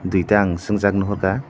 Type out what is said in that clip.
duita ang sung jak nohor ka.